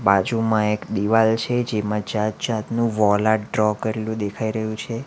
બાજુમાં એક દિવાલ છે જેમાં જાત જાતનું વોલ આર્ટ ડ્રો કરેલું દેખાઈ રહ્યું છે.